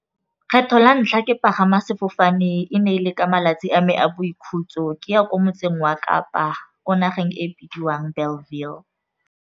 Kgetlho la ntlha ke pagama sefofane e ne e le ka malatsi a me a boikhutso, ke ya ko motseng wa Kapa ko nageng e bidiwang Bellville.